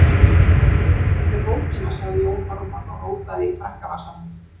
Ég er hér með bókina, sagði Jón Ármann og rótaði í frakkavasanum.